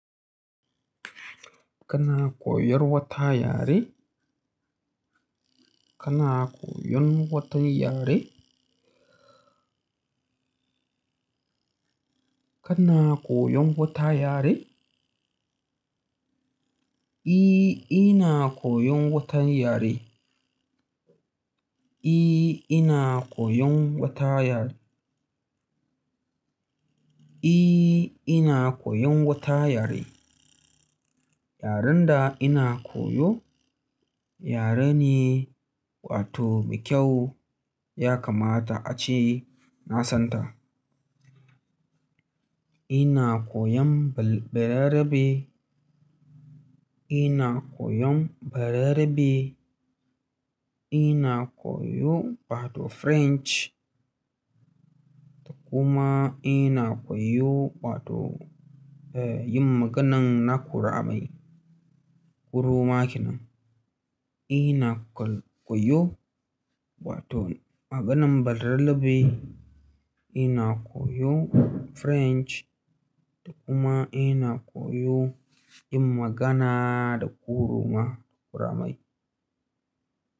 Kana koyar wata yare? Kana koyon wata yare? Kana koyon wata yare? Eh ina koyon wata yare I, ina koyon wata yare. I, ina koyon wata yare. Yaren da ina koyo yare ne mai kyau ya kamata ace nasanta ina koyon Bayerabe, ina koyon Bayerabe. Ina koyon wato French. Kuma ina koyon wato yin maganar Nakurami, Uromawa kenan. Ina koyo wato maganan balarabe, ina koyo French da kuma ina koyo yin magana da ƙuru ma ƙura mai.